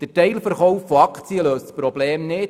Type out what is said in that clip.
Der Teilverkauf von Aktien löst das Problem nicht;